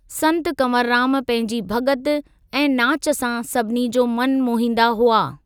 संत कंवररामु पंहिंजी भग॒ति ऐं नाच सां सभिनी जो मनु मोहींदा हुआ।